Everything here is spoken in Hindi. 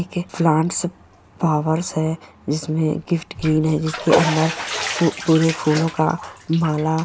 प्लांट्स पॉवर्स है जिसमें गिफ्ट ग्रीन है जिसके अंदर फू पूरे फूलों का माला --